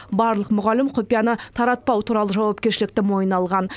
барлық мұғалім құпияны таратпау туралы жауапкершілікті мойнына алған